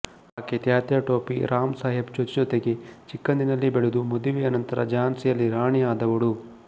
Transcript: ಆಕೆ ತಾತ್ಯಾಟೋಪೆ ರಾವ್ ಸಾಹೇಬ್ ಜತೆಜತೆಗೇ ಚಿಕ್ಕಂದಿನಲ್ಲಿ ಬೆಳೆದು ಮದುವೆಯ ನಂತರ ಝಾನ್ಸಿಯಲ್ಲಿ ರಾಣಿ ಆದವಳು